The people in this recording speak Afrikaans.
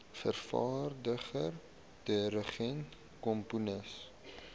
vervaardiger dirigent komponis